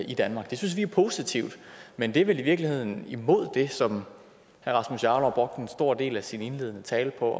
i danmark det synes vi er positivt men det er vel i virkeligheden imod det som herre rasmus jarlov brugte en stor del af sin indledende tale på